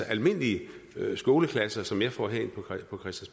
almindelige skoleklasser som jeg får herind